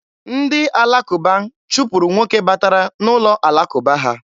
Ndị alakụba chụpụrụ nwoke batara n'ụlọ alakụba ha.